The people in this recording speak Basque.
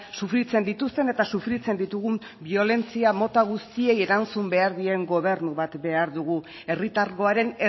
sufritzen dituzten eta sufritzen ditugun biolentzia mota guztiei erantzun behar dien gobernu bat behar dugu herritargoaren